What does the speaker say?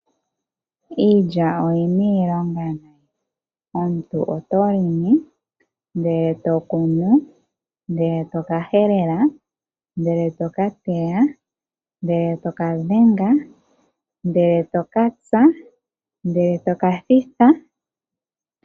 Iilya oyi na iilonga . Omuntu oto longo, ndele e to kunu ,Ndele toka helela, Ndele to ka teya ,ndele toka dhenga ,ndele e tokatsa, ndele to kathitha.